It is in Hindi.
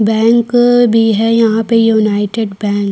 बैंक भी है यहाँ पे यूनाइटेड बैंक --